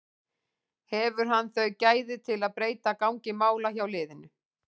Hefur hann þau gæði til að breyta gangi mála hjá liðinu?